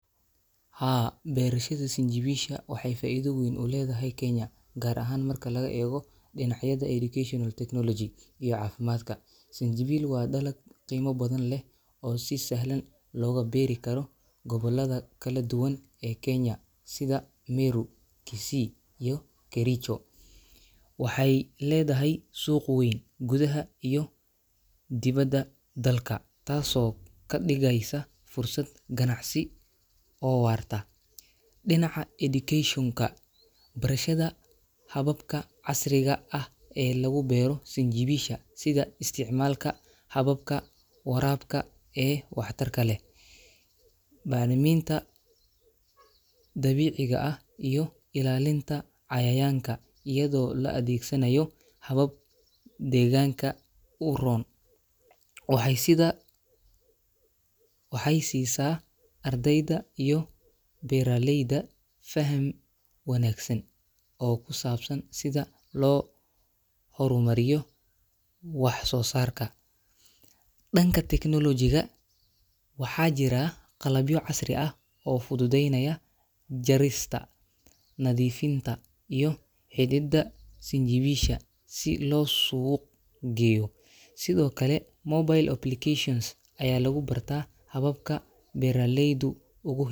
Haa beerashadha sanjawisha waxee faidho weyn uledhahay kenya gar ahan marki laga ego dinacyaada educational technology iyo cafimadka sanjawil waa dalad qimo badan leh oo si sahlan loga beeri karo gobolaada kala duwan ee kenya sitha meru kisii iyo kericho, waxee ledhahay suq weyn gudhaha iyo diwada dalka tas oo kadigigeysa fursaad ganacsi oo warta, dinaca education ka wax barshaada hababka casiriga ah ee lagu bero san jawisha isticmalka hababka warabka ee wax tarka leh baxriminta dabiciga ah iyo ilalinta cayayanka iyadho la adhegsanayo habab deganka uron, waxee sisa ardeyda iyo beera leyda fahmi wanagsan oo kusabsan sitha lo hormariyo iyo wax sosarka danka tecnolojiga waxaa jira qalabyo casri ah oo fududeynaya jarista nadhiifinta iyo helida sanjawisha si lo suq geyo, sithokale mobile application aya lagu bartaa hababka beera leydu.